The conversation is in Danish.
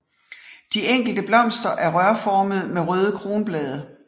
De enkelte blomster er rørformede med røde kronblade